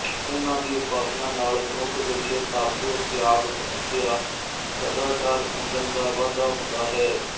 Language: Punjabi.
ਇਹਨਾਂ ਦੀ ਉਪਾਸਨਾ ਨਾਲ ਮਨੁੱਖ ਵਿੱਚ ਤਪ ਤਿਆਗ ਤਪੱਸਿਆ ਸਦਾਚਾਰ ਸੰਜਮ ਦਾ ਵਾਧਾ ਹੁੰਦਾ ਹੈ